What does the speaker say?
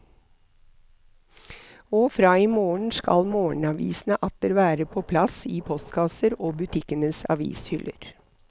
Og fra i morgen skal morgenavisene atter være på plass i postkasser og butikkenes avishyller.